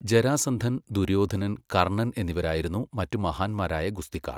ജരാസന്ധൻ, ദുര്യോധനൻ, കർണ്ണൻ എന്നിവരായിരുന്നു മറ്റ് മഹാന്മാരായ ഗുസ്തിക്കാർ.